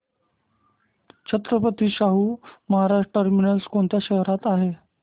Chhatrapati Shahu Maharaj terminus कोणत्या शहरात आहे